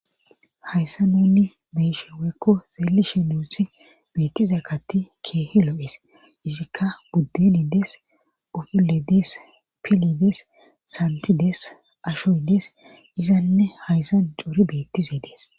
hayssa nunni beeshe weekko zeelishe nuuthi beettize katti keehi lo7ees izikka buddeni des ofiledes pilides santides ashoy dees izanne hayssan cori beettize dees